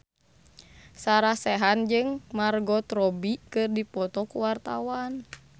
Sarah Sechan jeung Margot Robbie keur dipoto ku wartawan